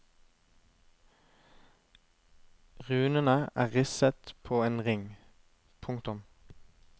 Runene er risset på en ring. punktum